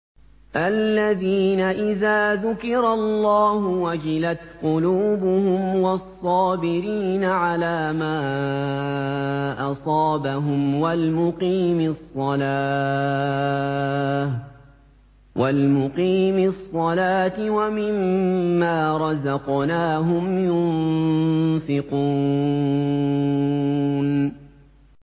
الَّذِينَ إِذَا ذُكِرَ اللَّهُ وَجِلَتْ قُلُوبُهُمْ وَالصَّابِرِينَ عَلَىٰ مَا أَصَابَهُمْ وَالْمُقِيمِي الصَّلَاةِ وَمِمَّا رَزَقْنَاهُمْ يُنفِقُونَ